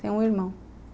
Tenho um irmão.